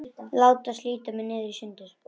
Láta slíta mig í sundur.